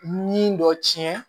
Ni dɔ tiɲɛ